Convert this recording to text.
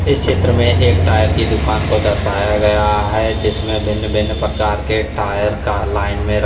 इस चित्र में एक टायर की दुकान को दर्शाया गया है जिसमें भिन्न-भिन्न प्रकार के टायर का लाइन में--